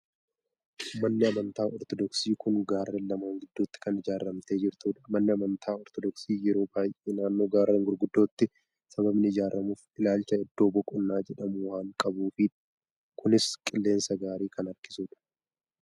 Manni amantaa Ortoodoksii kun gaarreen lamaan gidduutti kan ijaaramtee jirtudha. Manni amantaa Ortoodoksii yeroo baay'ee naannoo gaarreen gurguddootti sababni ijaaramuuf ilaalcha iddoo boqonnaa jedhamu waan qabuufidha. Kunis qilleensa gaarii kan harkisudha.